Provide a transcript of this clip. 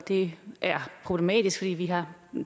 det er problematisk fordi vi har